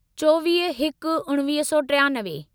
चोवीह हिक उणिवीह सौ टियानवे